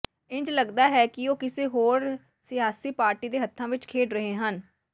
ਇੰਝ ਲੱਗਦਾ ਹੈ ਕਿ ਉਹ ਕਿਸੇ ਹੋਰ ਸਿਆਸੀ ਪਾਰਟੀ ਦੇ ਹੱਥਾਂ ਵਿਚ ਖੇਡ ਰਹੇ ਹਨ